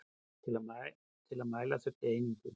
Til að mæla þurfti einingu.